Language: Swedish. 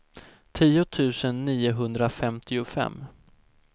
tio tusen niohundrafemtiofem